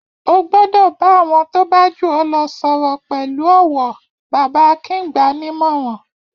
Ó gbọ́dọ̀ bá àwọn tó bá jù ọ́ lọ sọ̀rọ̀ pẹ̀lú ọ̀wọ̀! Bàbá Akin gbà á ní ìmọ̀ràn.